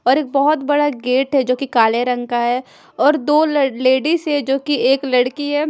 और एक बहोत बड़ा गेट है जोकि काले रंग का है और दो ल लेडिज है जोकि एक लड़की है।